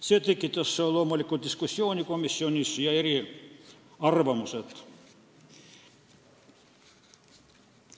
See tekitas loomulikult komisjonis diskussiooni ja eriarvamusi.